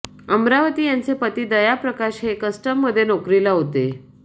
अमरावती यांचे पती दया प्रकाश हे कस्टममध्ये नोकरीला होते